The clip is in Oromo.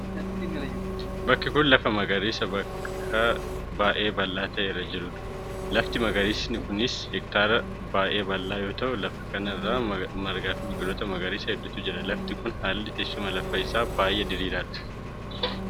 Bakki kun lafa magariisaa bakka baay'ee bal'aa ta'e irra jiruu dha. Lafti magariisi kun hektaara baay'ee bal'aa yoo ta'u, lafa kana irra margaa fi biqiloota magariisaa hedduutu jira. Lafti kun, haalli teessuma lafa isaa baay'ee diriiraa dha.